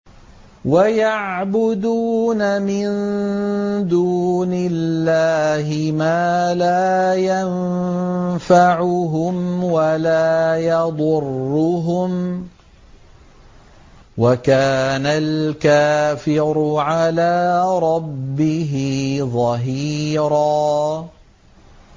وَيَعْبُدُونَ مِن دُونِ اللَّهِ مَا لَا يَنفَعُهُمْ وَلَا يَضُرُّهُمْ ۗ وَكَانَ الْكَافِرُ عَلَىٰ رَبِّهِ ظَهِيرًا